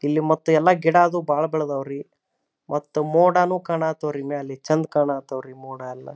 ಇಲ್ಲಿ ಮತ್ತೆ ಎಲ್ಲ ಗೀಡಾದು ಬಾಳ ಬೇಲ್ದಾವು ರೀ ಮತ್ತು ಮೋಡನು ಕಾನಾಥೋ ರೀ ಮೇಲೆ ಚಂದ್ ಕಾಣವ್ತ್ರಿ ಮೋಡಯೆಲ್ಲ --